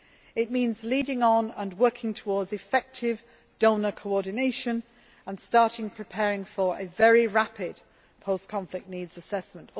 allows. It means leading on and working towards effective donor coordination and starting to prepare for a very rapid post conflict needs assessment.